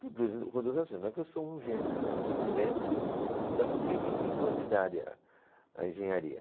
Por duas razões, não é que eu sou um gênio não, é porque primeiro eu fui estudar com trinta e cinco anos de idade ela, a engenharia.